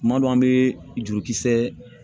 Kuma dɔ an bɛ jurukisɛ